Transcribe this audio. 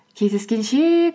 кездескенше